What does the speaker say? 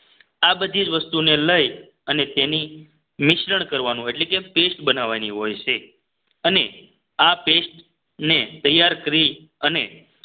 આ બધી જ વસ્તુને લઈ અને તેની મિશ્રણ કરવાનું એટલે કે paste બનાવવાની હોય છે અને આ paste ને તૈયાર કરી અને